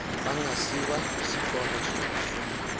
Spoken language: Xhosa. bangasiwa kwisikoko sokufunda